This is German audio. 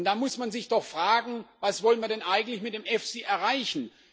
Da muss man sich doch fragen Was wollen wir denn eigentlich mit dem EFSI erreichen?